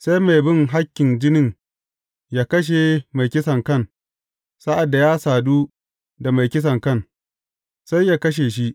Sai mai bin hakkin jinin yă kashe mai kisankan, sa’ad da ya sadu da mai kisankan, sai yă kashe shi.